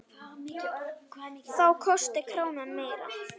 Þá kosti krónan meira.